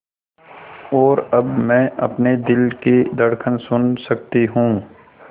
और अब मैं अपने दिल की धड़कन सुन सकती हूँ